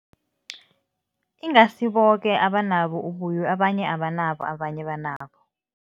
Ingasi boke abanabo ubuyo. Abanye abanabo, abanye banabo.